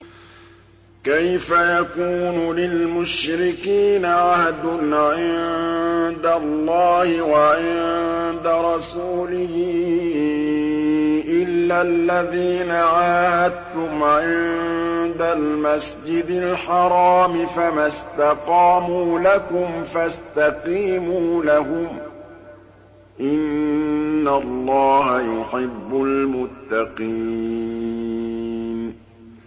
كَيْفَ يَكُونُ لِلْمُشْرِكِينَ عَهْدٌ عِندَ اللَّهِ وَعِندَ رَسُولِهِ إِلَّا الَّذِينَ عَاهَدتُّمْ عِندَ الْمَسْجِدِ الْحَرَامِ ۖ فَمَا اسْتَقَامُوا لَكُمْ فَاسْتَقِيمُوا لَهُمْ ۚ إِنَّ اللَّهَ يُحِبُّ الْمُتَّقِينَ